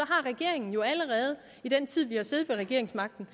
regeringen jo allerede i den tid vi har siddet med regeringsmagten